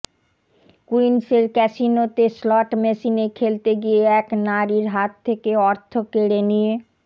কুইন্সের ক্যাসিনোতে স্লট মেশিনে খেলতে গিয়ে এক নারীর হাত থেকে অর্থ কেড়ে নিয়ে